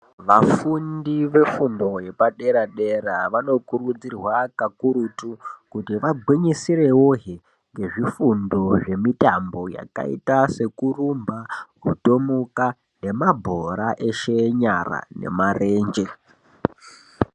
Vafundi vefundo yepadera-dera vanokurudzirwa kakurutu kuti vagwinyisirewohe ngezvifundo zvemitambo yakaita sekurumba, kutomuka nemabhora eshe enyara nemirenje.